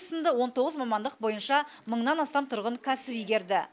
сынды он тоғыз мамандық бойынша мыңнан астам тұрғын кәсіп игерді